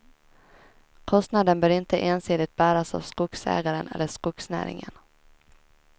Kostnaden bör inte ensidigt bäras av skogsägaren eller skogsnäringen.